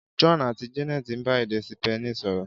John àti Janet ń bá èdè Sípéènì sọ̀rọ̀.